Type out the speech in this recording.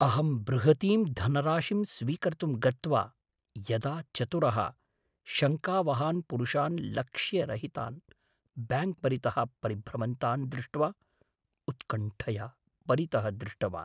अहं बृहतीं धनराशिं स्वीकर्तुं गत्वा यदा चतुरः शङ्कावहान् पुरुषान् लक्ष्यरहितान् ब्याङ्क् परितः परिभ्रमन्तान् दृष्ट्वा उत्कण्ठया परितः दृष्टवान्।